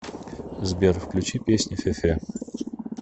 сбер включи песня фефе